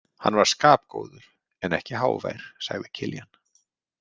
Hann var skapgóður en ekki hávær, sagði Kiljan.